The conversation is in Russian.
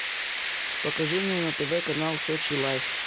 покажи мне на тв канал сочи лайф